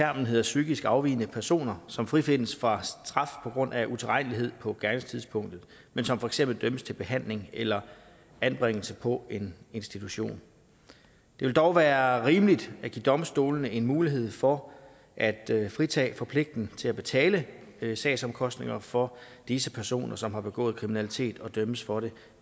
hedder psykisk afvigende personer som frifindes for straf på grund af utilregnelighed på gerningstidspunktet men som for eksempel dømmes til behandling eller anbringelse på en institution det vil dog være rimeligt at give domstolene en mulighed for at fritage for pligten til at betale sagsomkostningerne for disse personer som har begået kriminalitet og dømmes for det